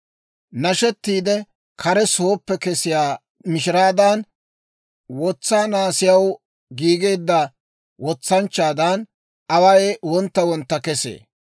Nashettiide kare sooppe kesiyaa mishiraadan, Wotsaa naasiyaw giigeedda wotsanchchaadan, away wontta wontta kesee.